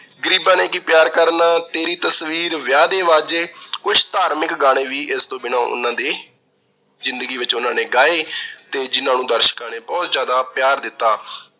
ਗਰੀਬਾਂ ਨੇ ਕੀ ਪਿਆਰ ਕਰਨਾ, ਤੇਰੀ ਤਸਵੀਰ, ਵਿਆਹ ਦੇ ਵਾਜੇ, ਕੁਝ ਧਾਰਮਿਕ ਗਾਣੇ ਵੀ ਇਸ ਦੇ ਬਿਨਾਂ ਉਹਨਾਂ ਦੀ ਜ਼ਿੰਦਗੀ ਵਿੱਚ ਉਹਨਾਂ ਨੇ ਗਾਏ ਤੇ ਜਿਹਨਾਂ ਨੂੰ ਦਰਸ਼ਕਾਂ ਨੇ ਬਹੁਤ ਜਿਆਦਾ ਪਿਆਰ ਦਿੱਤਾ।